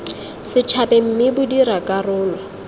setšhabeng mme bo dira karolo